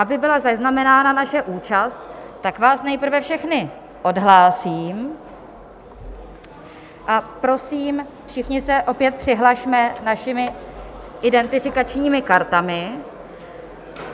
Aby byla zaznamenána naše účast, tak vás nejprve všechny odhlásím a prosím, všichni se opět přihlasme našimi identifikačními kartami.